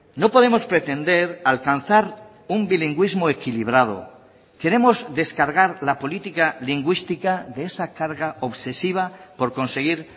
no podemos pretender alcanzar un bilingüismo equilibrado queremos descargar la política lingüística de esa carga obsesiva por conseguir